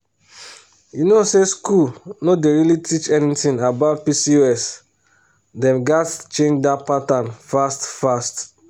you know say school no dey really teach anything about pcos dem gats change that pattern fast fast.